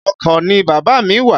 Oko ni bàbá mí wà.